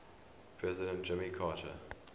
president jimmy carter